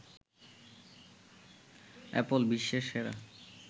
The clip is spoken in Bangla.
অ্যাপল বিশ্বের সেরা